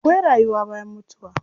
Akwai rayuwa bayan mutuwa.